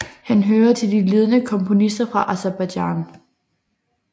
Han hører til de ledende komponister fra Aserbajdsjan